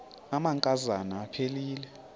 amanka zana aphilele